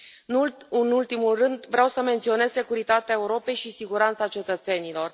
Nu în ultimul rând, vreau să menționez securitatea Europei și siguranța cetățenilor.